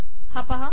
हा पाहा